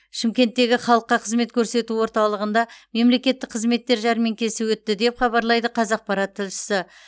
шымкенттегі халыққа қызмет көрсету орталығында мемлекеттік қызметтер жәрмеңкесі өтті деп хабарлайды қазақпарат тілшісі